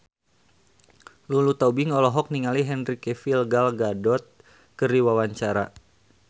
Lulu Tobing olohok ningali Henry Cavill Gal Gadot keur diwawancara